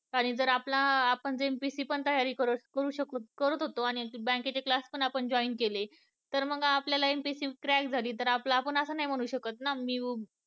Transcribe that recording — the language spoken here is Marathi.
आणि जर आपला आणि जे MPSC पण तयारी परत करू शकू, करत होतो आणि bank class पण आपण join केले तर मग आपलटला MPSC झाली तर आपण असं नाही म्हणू शकत ना की